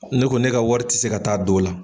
Ne ko ne ka wari tɛ se ka taa don o la.